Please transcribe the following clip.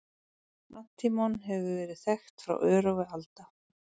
Antímon hefur verið þekkt frá örófi alda.